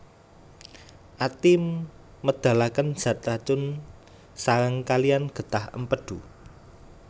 Ati médhalakén zat racun saréng kaliyan gétah Émpédu